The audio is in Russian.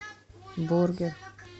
бургер